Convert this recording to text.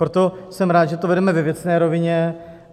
Proto jsem rád, že to vedeme ve věcné rovině.